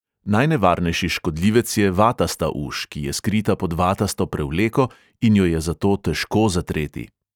Najnevarnejši škodljivec je vatasta uš, ki je skrita pod vatasto prevleko in jo je zato težko zatreti.